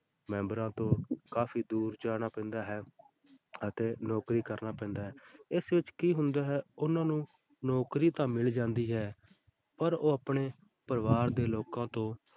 ਮੈਂਬਰਾਂ ਤੋਂ ਕਾਫ਼ੀ ਦੂਰ ਜਾਣਾ ਪੈਂਦਾ ਹੈ ਅਤੇ ਨੌਕਰੀ ਕਰਨਾ ਪੈਂਦਾ ਹੈ, ਇਸ ਵਿੱਚ ਕੀ ਹੁੰਦਾ ਹੈ ਕਿ ਉਹਨਾਂ ਨੂੰ ਨੌਕਰੀ ਤਾਂ ਮਿਲ ਜਾਂਦੀ ਹੈ ਪਰ ਉਹ ਆਪਣੇ ਪਰਿਵਾਰ ਦੇ ਲੋਕਾਂ ਤੋਂ,